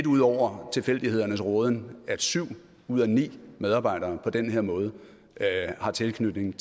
ud over tilfældighedernes råden at syv ud af ni medarbejdere på den her måde har tilknytning